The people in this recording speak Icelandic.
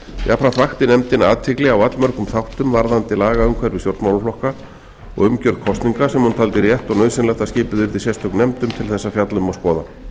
jafnframt vakti nefndin athygli á allmörgum þáttum varðandi lagaumhverfi stjórnmálaflokka og umgjörð kosninga sem hún taldi rétt og nauðsynlegt að skipuð yrði sérstök nefnd um til þess að fjalla um og